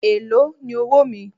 Èló ni owóò mi?